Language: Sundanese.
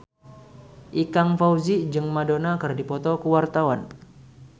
Ikang Fawzi jeung Madonna keur dipoto ku wartawan